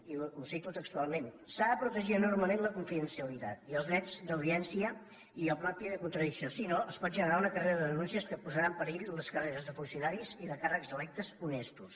i ho cito textualment s’ha de protegir enormement la confidencialitat i els drets d’audiència i el propi de contradicció si no es pot generar una carrera de denúncies que posarà en perill les carreres de funcionaris i de càrrecs electes honestos